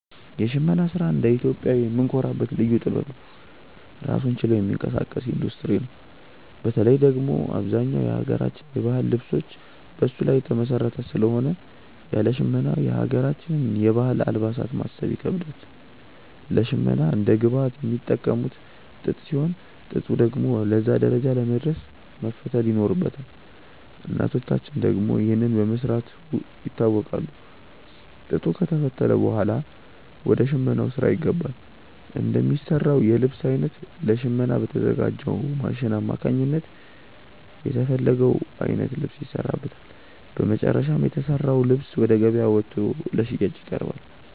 የሽመና ስራ እንደ ኢትዮጵያዊ የምንኮራበት ልዩ ጥበብ ነው። ራሱን ችሎ የሚንቀሳቀስ ኢንዱስትሪ ነው። በተለይ ደግሞ አብዛኛው የሀገራችን የባህል ልብሶች በሱ ላይ የተመሰረተ ስለሆነ ያለ ሽመና የሀገራችንን የባህል አልባሳት ማሰብ ይከብዳል። ለሽመና እንደ ግብአት የሚጠቀሙት ጥጥ ሲሆን፣ ጥጡ ደግሞ ለዛ ደረጃ ለመድረስ መፈተል ይኖርበታል። እናቶቻችን ደግሞ ይህንን በመስራት ይታወቃሉ። ጥጡ ከተፈተለ ብኋላ ወደ ሽመናው ስራ ይገባል። እንደሚሰራው የልብስ አይነት ለሽመና በተዘጋጅው ማሽን አማካኝነት የተፈለገው አይነት ልብስ ይሰራበታል። በመጨረሻም የተሰራው ልብስ ወደ ገበያ ወጥቶ ለሽያጭ ይቀርባል።